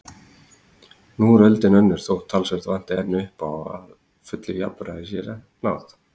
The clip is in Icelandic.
Nú er öldin önnur þótt talsvert vanti enn upp á að fullu jafnrétti séð náð.